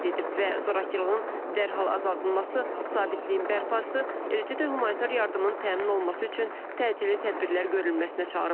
Və zorakılığın dərhal azaldılması, sabitliyin bərpası, eləcə də humanitar yardımın təmin olunması üçün təcili tədbirlər görülməsinə çağırıb.